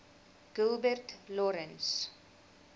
gilbert lawrence